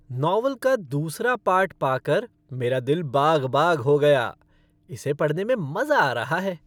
Novel का दूसरा part पाकर मेरा दिल बाग बाग हो गया। इसे पढ़ने में मज़ा आ रहा है।